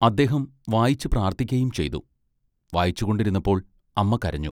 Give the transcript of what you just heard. അദ്ദേഹം വായിച്ചു പ്രാർത്ഥിക്കുകയും ചെയ്തു. വായിച്ചുകൊണ്ടിരുന്നപ്പോൾ അമ്മ കരഞ്ഞു.